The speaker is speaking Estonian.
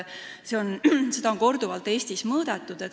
Seda on Eestis korduvalt mõõdetud.